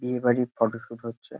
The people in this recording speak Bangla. বিয়ে বাড়ি ফটোশুট হচ্ছে।